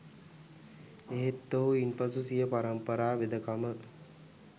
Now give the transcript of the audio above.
එහෙත් ඔහු ඉන්පසු සිය පරම්පරා වෙදකම